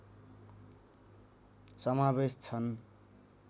समावेश छन्